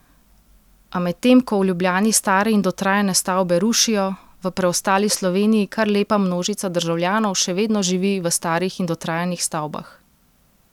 A medtem ko v Ljubljani stare in dotrajane stavbe rušijo, v preostali Sloveniji kar lepa množica državljanov še vedno živi v starih in dotrajanih stavbah.